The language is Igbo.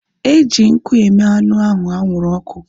Eji nkụ eme anụ ahu anwụrụ ọkụ